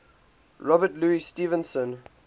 robert louis stevenson